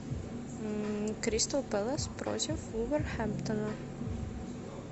кристал пэлас против вулверхэмптона